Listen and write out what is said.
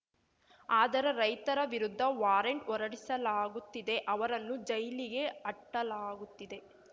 ಆದರೆ ರೈತರ ವಿರುದ್ಧ ವಾರಂಟ್‌ ಹೊರಡಿಸಲಾಗುತ್ತಿದೆ ಅವರನ್ನು ಜೈಲಿಗೆ ಅಟ್ಟಲಾಗುತ್ತಿದೆ